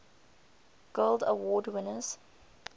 guild award winners